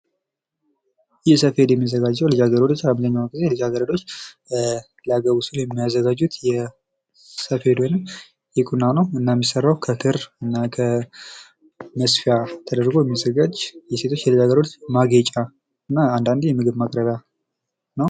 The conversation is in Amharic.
ይህ ሰፌድ የሚዘጋጀው ልጃገረዶች አብዛኛውን ጊዜ ልጃገረዶች ሊያገቡ ሲሉ የሚያዘጋጁት የሰፌድ ወይም የቁና እና የሚዘጋጀው ከክርና ከመስፊያ ተደርጎ የሚዘጋጅ የሴቶች ማጌጫ እና አንዳንዴ የምግብ ማቅረብያ ነው።